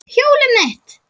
Hjólið mitt!